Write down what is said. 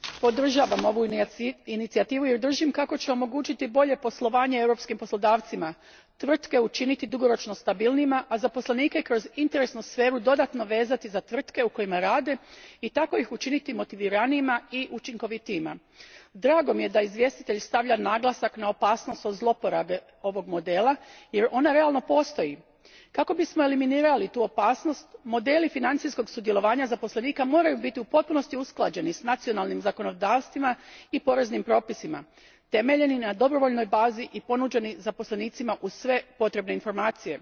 Poštovani g. predsjedniče, podržavam ovu inicijativu jer držim kako će omogućiti bolje poslovanje europskim poslodavcima, tvrtke učiniti dugoročno stabilnijima, a zaposlenike kroz interesnu sferu dodatno vezati za tvrtke u kojima rade i tako ih učiniti motiviranijima i učinkovitijima. Drago mi je da izvjestitelj stavlja naglasak na opasnost od zloporabe ovog modela jer ona realno postoji. Kako bismo eliminirali tu opasnost, modeli financijskog sudjelovanja zaposlenika moraju biti u potpunosti usklađeni s nacionalnim zakonodavstvima i poreznim propisima, temeljeni na dobrovoljnoj bazi i ponuđeni zaposlenicima uz sve potrebne informacije.